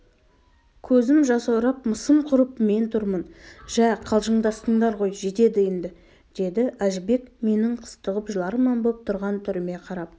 көзім жасаурап мысым құрып мен тұрмын жә қалжындастыңдар ғой жетеді енді деді әжібек менің қыстығып жыларман боп тұрған түріме қарап